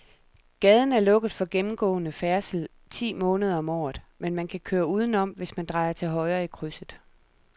Gaden er lukket for gennemgående færdsel ti måneder om året, men man kan køre udenom, hvis man drejer til højre i krydset.